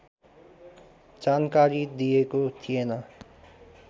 जानकारी दिएको थिएन